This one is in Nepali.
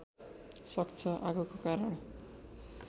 सक्छ आगोको कारण